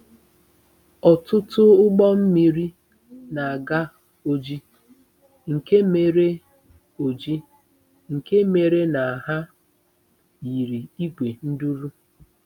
Ọtụtụ ụgbọ mmiri na-aga Oji nke mere Oji nke mere na ha yiri ìgwè nduru.